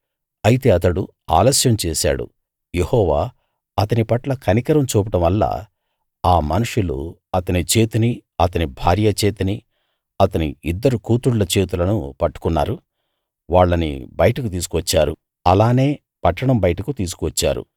అయితే అతడు ఆలస్యం చేసాడు యెహోవా అతని పట్ల కనికరం చూపడం వల్ల ఆ మనుషులు అతని చేతినీ అతని భార్య చేతినీ అతని ఇద్దరు కూతుళ్ళ చేతులనూ పట్టుకున్నారు వాళ్ళని బయటకు తీసుకువచ్చారు అలానే పట్టణం బయటకు తీసుకువచ్చారు